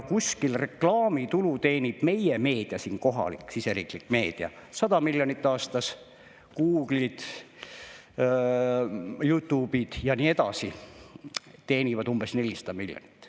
Meie meedia, kohalik meedia, teenib reklaamitulu umbes 100 miljonit aastas, Google, YouTube ja nii edasi teenivad umbes 400 miljonit.